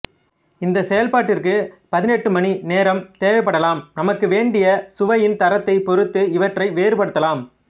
இந்தச் செயல்பாட்டிற்கு பதிநெட்டுமணி நேரம் தேவைப்படலாம் நமக்கு வேண்டிய சுவையின் தரத்தைப்பொறுத்து இவற்றை வேறுபடுத்தலாம்